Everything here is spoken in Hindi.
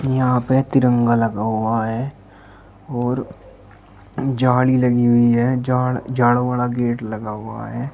यहां पे तिरंगा लगा हुआ है और झाड़ी लगी हुई है झाड़ा वाड़ा गेट लगा हुआ है।